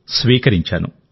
స్వీకరించాను